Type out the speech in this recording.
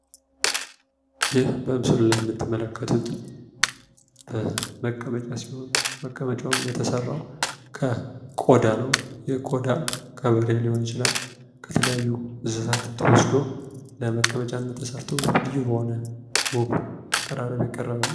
ይህ በምስሉ ላይ የምትመለከቱት መቀመጫ ሲሆን የተሰራዉም ከቆዳ ነው::ይህ ቆዳ ከበሬ ሊሆን ይችላል ከተለያዩ እንስሳቶች ተወዶ ለምቀመጫ ተሰርቶ የቀረበ ነው ::